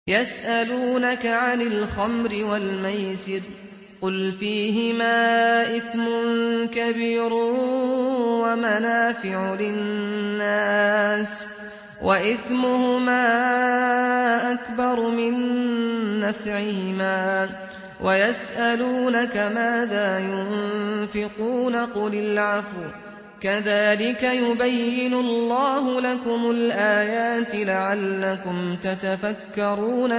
۞ يَسْأَلُونَكَ عَنِ الْخَمْرِ وَالْمَيْسِرِ ۖ قُلْ فِيهِمَا إِثْمٌ كَبِيرٌ وَمَنَافِعُ لِلنَّاسِ وَإِثْمُهُمَا أَكْبَرُ مِن نَّفْعِهِمَا ۗ وَيَسْأَلُونَكَ مَاذَا يُنفِقُونَ قُلِ الْعَفْوَ ۗ كَذَٰلِكَ يُبَيِّنُ اللَّهُ لَكُمُ الْآيَاتِ لَعَلَّكُمْ تَتَفَكَّرُونَ